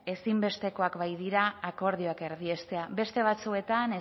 ezinbestekoak baitira akordioak erdiestea beste batzuetan